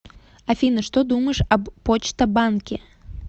афина что думаешь об почта банке